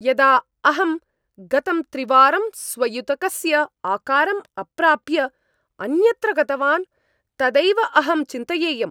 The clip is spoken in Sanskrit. यदा अहम् गतं त्रिवारं स्वयुतकस्य आकारम् अप्राप्य अन्यत्र गतवान् तदैव अहं चिन्तयेयम्।